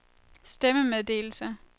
stemmemeddelelse